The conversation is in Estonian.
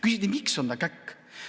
Küsiti, et miks ta on käkk.